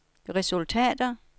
resultater